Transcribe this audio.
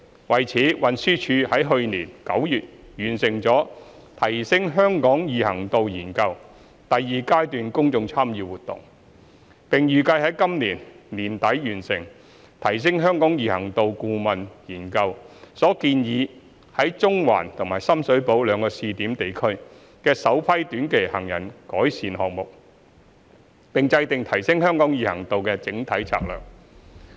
為此，運輸署已在去年9月完成"提升香港易行度研究"第二階段公眾參與活動，並預計在今年年底完成"提升香港易行度顧問研究"所建議在中環和深水埗兩個試點地區的首批短期行人改善項目，並制訂提升香港易行度的整體策略。